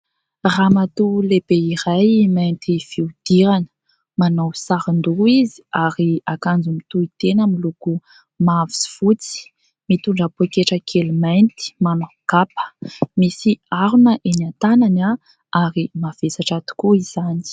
Ramatoa lehibe iray mainty fihodirana manao sarin-doha izy ary akanjo mitohi-tena miloko mavo sy fotsy mitondra poketra kely mainty, manao kapa, misy harona eny an-tanany ary mavesatra tokoa izany.